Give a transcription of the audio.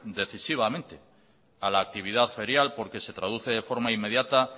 decisivamente a la actividad ferial porque se traduce de forma inmediata